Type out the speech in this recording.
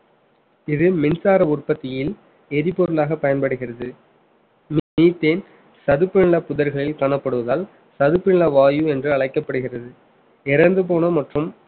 இது மின்சார உற்பத்தியின் எரிபொருளாக பயன்படுகிறது methane சதுப்பு நில புதர்களில் காணப்படுவதால் சதுப்பு நில வாயு என்று அழைக்கப்படுகிறது இறந்து போன மற்றும்